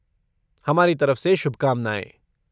हमारी तरफ से शुभकामनाएँ।